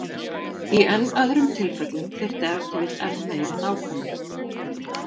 Í enn öðrum tilfellum þyrfti ef til vill enn meiri nákvæmni.